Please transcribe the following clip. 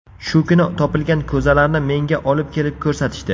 Shu kuni topilgan ko‘zalarni menga olib kelib ko‘rsatishdi.